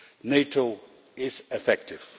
NATO is effective.